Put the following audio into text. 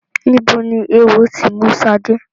Níbo ni eéwo ti mú Ṣadé?